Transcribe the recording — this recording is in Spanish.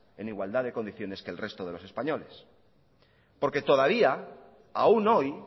en igualdad de condiciones que el resto de los españoles porque todavía aún hoy